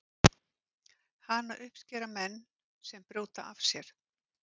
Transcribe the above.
hana uppskera menn sem brjóta af sér